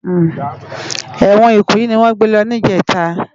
Èwòn Ikoyi niwòn gbé lò nijètá